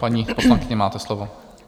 Paní poslankyně, máte slovo.